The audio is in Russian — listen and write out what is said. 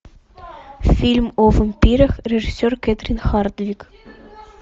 фильм о вампирах режиссер кэтрин хардвик